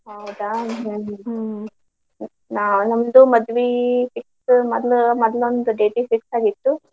ಹೌದಾ ಹ್ಮ್ ಹ್ಮ್ ನಮ್ದು ಮದ್ವಿ fix ಮೊದಲೊಂದು date ಗ್ fix ಆಗಿತ್ತ್.